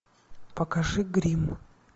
покажи гримм